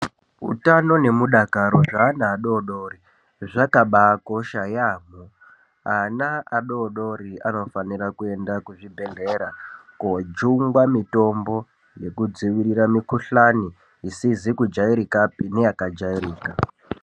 Utano nehudakaro hwevana vadoodori zvakabakosha yambo ana adoodori anofanira kuenda kuzvibhedhlera koojungwa mitombo yekudzivirira mukhuhlani isizi kujairikapi neyakajairika.